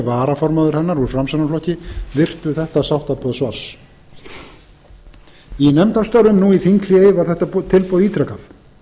varaformaður hennar úr framsóknarflokki virtu þetta sáttaboð svars í nefndarstörfum nú í þinghléi var þetta tilboð ítrekað